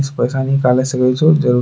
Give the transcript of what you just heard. इस पैसा निकाले सके छो जरु --